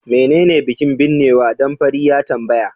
menene bikin binnewa? dan fari ya tambaya